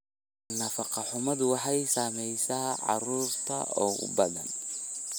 Nafaqo-xumadu waxay saamaysaa carruurta ugu badan.